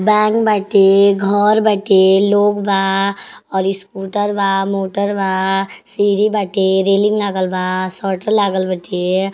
Bank बाटे घर बाटे लोग बा और स्कूटर बा मोटर बा सीढ़ी बाटे रेलिंग लागल बा लागल बाटे।